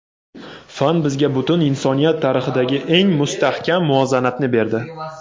Fan bizga butun insoniyat tarixidagi eng mustahkam muvozanatni berdi.